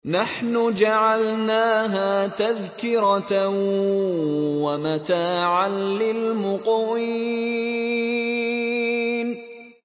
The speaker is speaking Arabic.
نَحْنُ جَعَلْنَاهَا تَذْكِرَةً وَمَتَاعًا لِّلْمُقْوِينَ